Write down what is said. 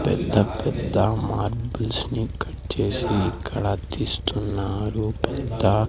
పెద్ద పెద్ద మార్బుల్స్ నీ కట్ చేసి ఇక్కడ తీస్తున్నారు పెద్ద--